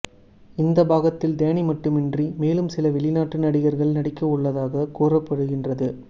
இந்த பாகத்தில் டேனி மட்டுமின்றி மேலும் சில வெளிநாட்டு நடிகர்கள் நடிக்கவுள்ளதாக கூறப்படுகின்றது